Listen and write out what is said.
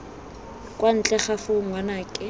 kwa ntle ga foo ngwanake